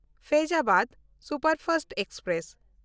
Faizabad superfast express